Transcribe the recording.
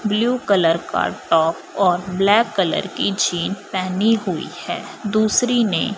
blue colour का top और black colour की जींस पहनी हुई है दूसरी ने--